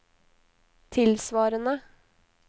tilsvarende